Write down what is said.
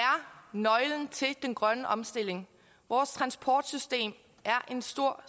nøglen til den grønne omstilling vores transportsystem er en stor